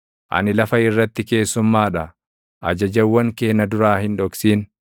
Ani lafa irratti keessummaa dha; ajajawwan kee na duraa hin dhoksin.